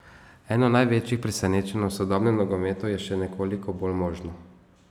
Eno največjih presenečenj v sodobnem nogometu je še nekoliko bolj možno.